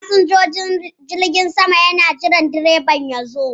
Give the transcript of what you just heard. Fasinjojin jirgin sama na jiran direban tasin ya zo.